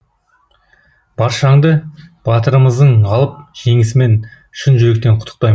баршаңды батырымыздың алып жеңісімен шын жүректен құттықтаймын